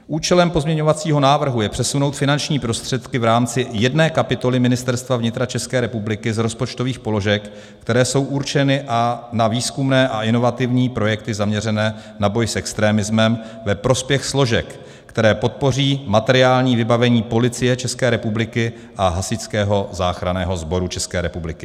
Účelem pozměňovacího návrhu je přesunout finanční prostředky v rámci jedné kapitoly Ministerstva vnitra České republiky z rozpočtových položek, které jsou určeny na výzkumné a inovativní projekty zaměřené na boj s extremismem, ve prospěch složek, které podpoří materiální vybavení Policie České republiky a Hasičského záchranného sboru České republiky.